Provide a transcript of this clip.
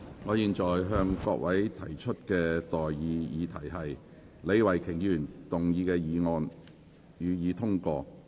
我現在向各位提出的待議議題是：李慧琼議員動議的議案，予以通過。